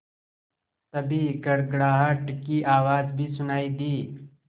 तभी गड़गड़ाहट की आवाज़ भी सुनाई दी